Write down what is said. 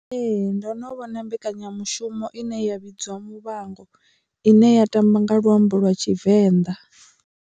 Ee, ndo no vhona mbekanyamushumo ine ya vhidziwa Muvhango ine ya tamba nga luambo lwa Tshivenḓa.